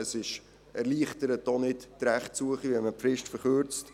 Es erleichtert auch die Rechtssuche nicht, wenn man die Frist verkürzt.